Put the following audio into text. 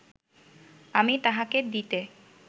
আমি তাঁহাকে দিতে